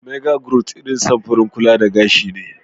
Maga grawt irin samfurin kulla da gashi ne.